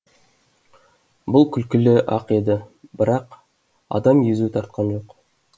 бұл күлкілі ақ еді бірақ адам езу тартқан жоқ